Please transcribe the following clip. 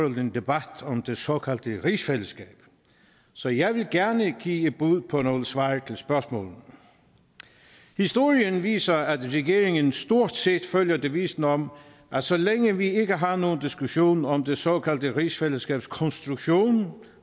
en debat om det såkaldte rigsfællesskab så jeg vil gerne give et bud på nogle svar til spørgsmålene historien viser at regeringer stort set følger devisen om at så længe vi ikke har nogen diskussion om det såkaldte rigsfællesskabs konstruktion